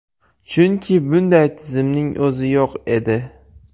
Chunki bunday tizimning o‘zi yo‘q edi.